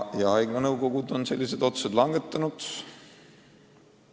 Just haiglate nõukogud on sellised otsused langetanud.